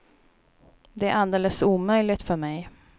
Det är alldeles omöjligt för mig.